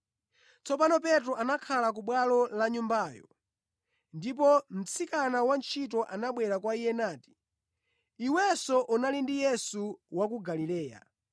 Tsopano Petro anakhala ku bwalo la nyumbayo, ndipo mtsikana wantchito anabwera kwa iye nati, “Iwenso unali ndi Yesu wa ku Galileya.”